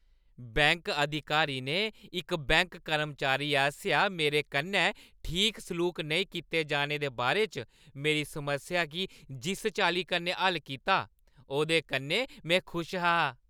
Bank अधिकारी ने इक बैंक कर्मचारी आसेआ मेरे कन्नै ठीक सलूक नेईं कीते जाने दे बारे च मेरी समस्या गी जिस चाल्ली कन्नै हल्ल कीता, ओह्दे कन्नै में खुश हा।